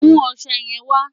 Mú ọṣẹ yẹn wà!